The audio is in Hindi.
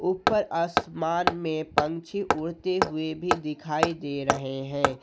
ऊपर आसमान में पंछी उड़ते हुए भी दिखाई दे रहे है।